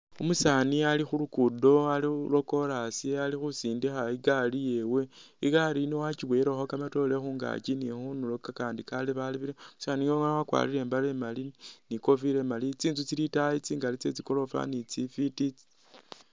Umusaani ali khulugudo ali lwo chorus alikhusindikha igaari yewe ,igaari iyi wakyiboyelekho kamatoore khungaaki ni khundulo kakandi kalebalebele, umusaani yuno wakwarire imbaale imali ni ikofira imali, tsinzu tsili itayi tsingali tsye tsi goroofa ni tsi fwiti